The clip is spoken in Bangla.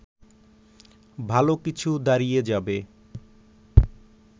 ভালো কিছু দাঁড়িয়ে যাবে